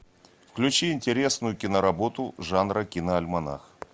включи интересную киноработу жанра киноальманах